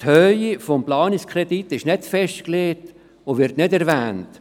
Die Höhe des Planungskredits ist nicht festgelegt und wird nicht erwähnt.